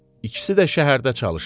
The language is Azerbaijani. İkisi də şəhərdə çalışır.